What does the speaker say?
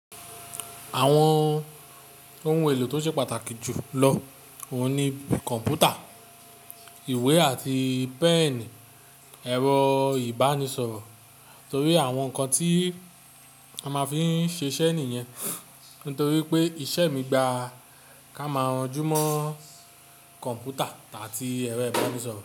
Àwọn ohun èlò tó ṣe pàtàkì jù lọ òun ni kọ̀npútà, ìwé àti pẹ́ẹ̀nì, ẹ̀rọ ìbánisọ̀rọ̀ torí àwọn nǹkan tí a máa fí ń ṣe iṣẹ́ nìyẹn. Nítorí pé iṣẹ́ mi gba ká máa ranjú mọ́ kọ̀npútà àti ẹ̀rọ ìbánisọ̀rọ̀